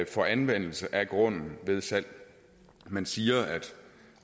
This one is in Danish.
for anvendelse af grunden ved salg man siger at